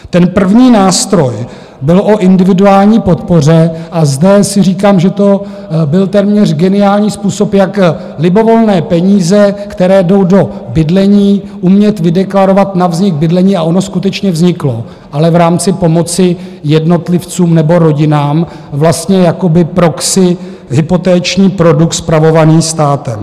Ten první nástroj byl o individuální podpoře a zde si říkám, že to byl téměř geniální způsob, jak libovolné peníze, které jdou do bydlení, umět vydeklarovat na vznik bydlení, a ono skutečně vzniklo, ale v rámci pomoci jednotlivcům nebo rodinám vlastně jakoby proxy hypoteční produkt, spravovaný státem.